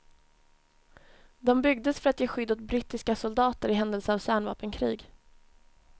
De byggdes för att ge skydd åt brittiska soldater i händelse av kärnvapenkrig.